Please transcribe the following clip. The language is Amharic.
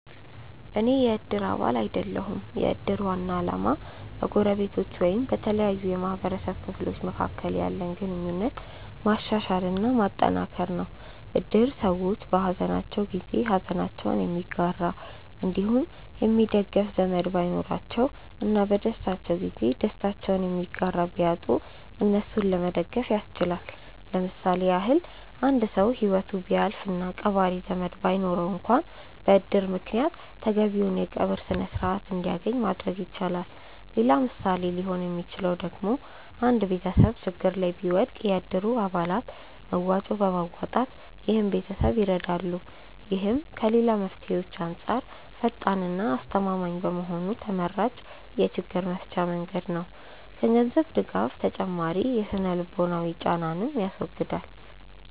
አኔ የ እድር አባል አይደለሁም። የ እድር ዋና አላማ በ ጎረቤቶች አንዲሁም በተለያዩ የ ማህበረሰቡ ክፍሎች መካከል ያለንን ግንኙነት ማሻሻል እና ማጠንከር ነው። እድር ሰዎች በ ሃዘናቸው ጊዜ ሃዘናቸውን የሚጋራ አንዲሁም የሚደግፍ ዘመድ ባይኖራቸው እና በ ደስታቸው ጊዜ ደስታቸውን የሚጋራ ቢያጡ እነሱን ለመደገፍ ያስችላል። ለምሳሌ ያክል አንድ ሰው ሂወቱ ቢያልፍ እና ቀባሪ ዘመድ ባይኖረው አንክዋን በ እድር ምክንያት ተገቢውን የ ቀብር ስርዓት አንድያገኝ ማድረግ ይቻላል። ሌላ ምሳሌ ሊሆን ሚችለው ደግሞ አንድ ቤተሰብ ችግር ላይ ቢወድቅ የ እድሩ አባላት መዋጮ በማዋጣት ይህን ቤተሰብ ይረዳሉ። ይህም ከ ሌላ መፍትሄዎች አንጻር ፈጣን እና አስተማማኝ በመሆኑ ተመራጭ የ ችግር መፍቻ መንገድ ነው። ከ ገንዘብ ድጋፍ ተጨማሪ የ ስነ-ልቦናዊ ጫናንንም ያስወግዳል።